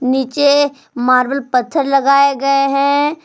नीचे मार्बल पत्थर लगाए गए हैं।